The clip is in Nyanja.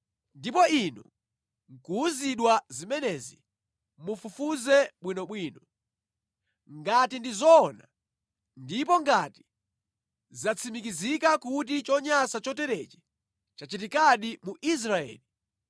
ndipo inu nʼkuwuzidwa zimenezi, mufufuze bwinobwino. Ngati ndi zoona, ndipo ngati zatsimikizika kuti chonyansa choterechi chachitikadi mu Israeli,